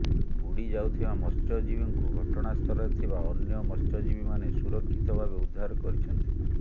ବୁଡି ଯାଉଥିବା ମତ୍ସ୍ୟଜୀବୀଙ୍କୁ ଘଟଣାସ୍ଥଳରେ ଥିବା ଅନ୍ୟ ମତ୍ସ୍ୟଜୀବୀମାନେ ସୁରକ୍ଷିତ ଭାବେ ଉଦ୍ଧାର କରିଛନ୍ତି